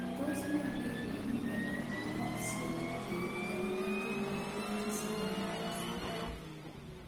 Tos ne neiparu miondop Transient neonatal diabetes mellitus